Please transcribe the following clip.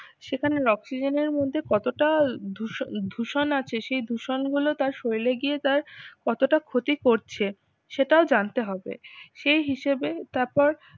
সেখানে oxygen এর মধ্যে কতটা দুষ দূষণ আছে সেই দূষণ গুলো তার শরীরে গিয়ে তার কতটা ক্ষতি করছে সেটাও জানতে হবে এই হিসেবে তারপর